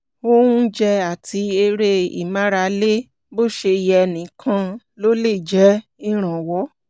oúnjẹ àti eré ìmárale bó ṣe yẹ nìkan ló lè jẹ́ ìrànwọ́